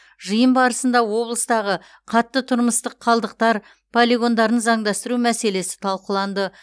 жиын барысында облыстағы қатты тұрмыстық қалдықтар полигондарын заңдастыру мәселесі талқыланды